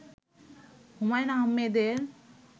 হুমায়ূন আহমেদের